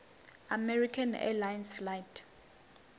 american airlines flight